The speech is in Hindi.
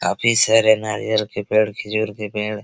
काफी सारे नारियल के पेड़ खिजूर के पेड़ --